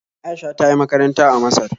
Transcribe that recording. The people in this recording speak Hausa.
Aisha ta yi makaranta a Masar